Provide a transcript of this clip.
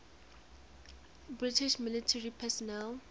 british military personnel